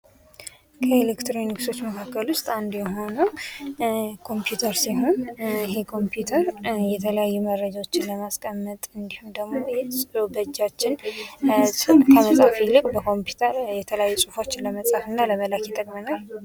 ከኤሌክትሮኒክስ መካከል ውስጥ አንዱ የሆነው ኮምፒዩተር ሲሆን ይሄ ኮምፒውተር የተለያዩ መረጃዎችን ለማስቀመጥ እንዲሁም ደግሞ ጽሑፍ በእጃችን ከመጻፍ ይልቅ በኮምፒውተር ለመፃፍ እና ለመላክ ይጠቅመናል።